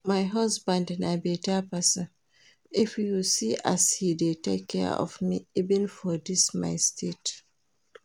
My husband na beta person, if you see as he dey take care of me even for dis my state